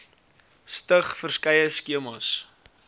stig verskeie skemas